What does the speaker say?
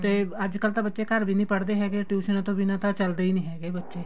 ਤੇ ਅੱਜਕਲ ਤਾਂ ਬੱਚੇ ਘਰ ਵੀ ਨੀ ਪੜ੍ਹਦੇ ਹੈਗੇ ਟੁਈਸ਼ਨਾ ਤੋਂ ਬਿਨਾਂ ਤਾਂ ਚੱਲਦੇ ਈ ਨੀ ਹੈਗੇ ਬੱਚੇ